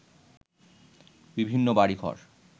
বিভিন্ন বাড়িঘর